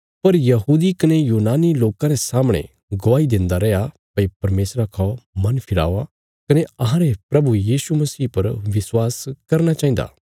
पर यहूदी कने यूनानी लोकां रे सामणे गवाही देन्दा रैया भई परमेशरा खौ मन फिरावा कने अहांरे प्रभु यीशु मसीह पर विश्वास करना चाहिन्दा